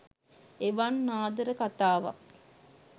එවන් ආදර කතාවක්